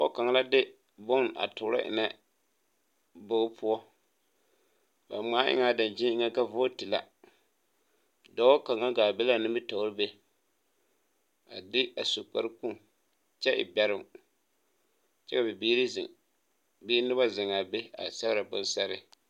Pɔgebɔ kaŋ la de bon a toorɔ eŋnɛ bogi poɔ ba ngmaa eŋɛ daŋkyini poɔ ka vootu la dɔɔ kaŋa gaa be laa nimitoore be a de a su kpare kpoŋ kyɛ e bɛroŋ kyɛ bibiire zeŋ bee nobɔ zeŋaa be a sɛgrɛ bon sɛgre.